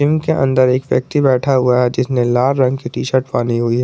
Gym के अंदर एक व्यक्ति बैठा हुआ है जिसने लाल रंग की टी शर्ट पहनी हुई है।